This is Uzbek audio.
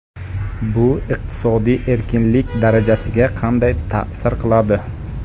Bu iqtisodiy erkinlik darajasiga qanday ta’sir qiladi?